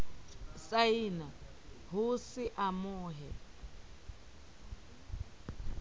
saena ho se mo amohe